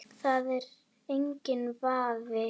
Það er enginn vafi.